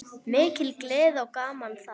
Mikil gleði og gaman þar.